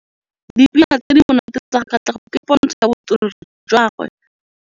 Dipina tse di monate tsa Katlego ke pôntshô ya botswerere jwa gagwe.